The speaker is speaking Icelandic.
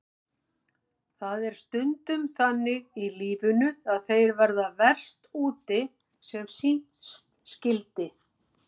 Það er stundum þannig í lífinu að þeir verða verst úti sem síst skyldi.